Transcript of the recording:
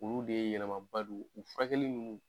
Olu de ye yɛlɛmaba don u furakɛli ninnu.